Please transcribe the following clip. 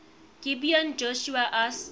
gibeon joshua asked